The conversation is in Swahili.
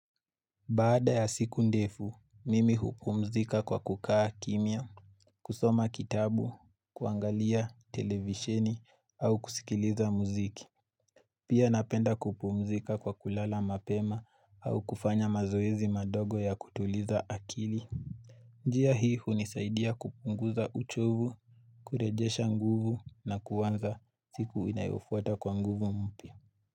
Baada ya siku ndefu, mimi hupumzika kwa kukaa kimya, kusoma kitabu, kuangalia, televisheni, au kusikiliza muziki. Pia napenda kupumzika kwa kulala mapema au kufanya mazoezi madogo ya kutuliza akili. Njia hii hunisaidia kupunguza uchovu, kurejesha nguvu na kuanza siku inayofuata kwa nguvu mpia.